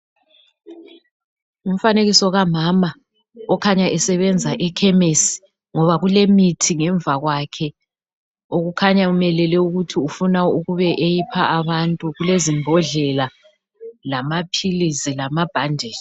Ngumfanekiso kamama okhanya esebenza ekhemisi ngoba kulemithi ngemva kwakhe okukhanya emelele ukuthi ufuna ukuba eyipha abantu ngoba kulezimbodlela lamaphilisi lamabhanditshi.